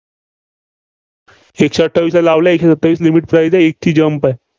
एकशे अठ्ठावीसला लावला, एकशे सत्तावीस limit चं इथं एकची jump आहे.